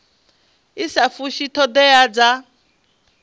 i sa fushi thodea dza